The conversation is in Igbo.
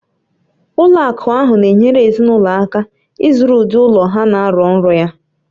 Ụlọ akụ ahụ na-enyere ezinụlọ aka ịzụrụ ụdị ụlọ ha na-arọ nrọ ya